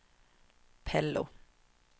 Pello